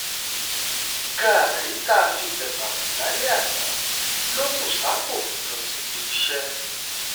gáárì tá a fi um tẹba kú lálẹ́ àná um ló bú sápò lọ síbi iṣẹ́